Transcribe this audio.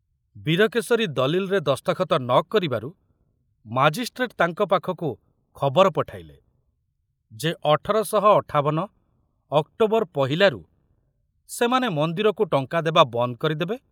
ବୀରକେଶରୀ ଦଲିଲରେ ଦସ୍ତଖତ ନ କରିବାରୁ ମାଜିଷ୍ଟ୍ରେଟ ତାଙ୍କ ପାଖକୁ ଖବର ପଠାଇଲେ ଯେ ଅଠର ଶହ ଅଠାବନ ଅକ୍ଟୋବର ପହିଲାରୁ ସେମାନେ ମନ୍ଦିରକୁ ଟଙ୍କା ଦେବା ବନ୍ଦ କରିଦେବେ